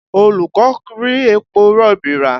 Olú kò rí epo rọ̀bì rà